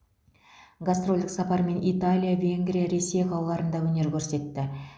гастрольдік сапармен италия венгрия ресей қалаларында өнер көрсетті